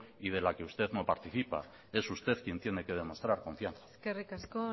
y de la que usted no participa es usted quien tiene que demostrar confianza eskerrik asko